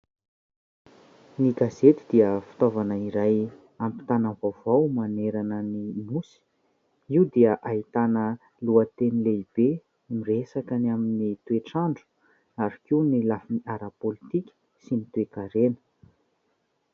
Ny gazety dia fitaovana iray ampitàna vaovao manerana ny Nosy. Io dia ahitana lohateny lehibe, miresaka ny amin'ny toetr'andro, ary koa ny lafiny ara-politika, sy ny toe-karena.